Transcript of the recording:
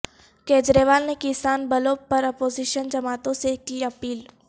کجریوال نے کسان بلوں پراپوزیشن جماعتوں سے کی اپیل